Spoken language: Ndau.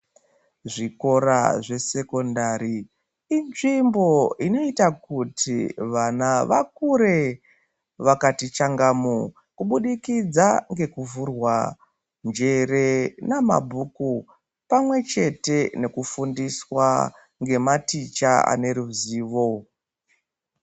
Zvikora zvesekondari inzvimbo inoita kuti vana vakure vakati changamu kubudikidza ngekuvhurwa njere namabhuku pamwe chete nekufundiswa nematicha ane ruzivo.